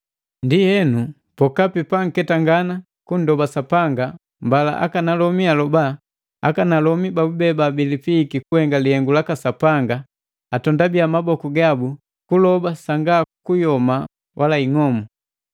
Ndienu, pokapi panketangana kunndoba Sapanga mbala akanalomi aloba, akanalomi babube babilipiiki kuhenga lihengu laka Sapanga atondabiya maboku gabu kuloba sanga hasila wala ing'omu.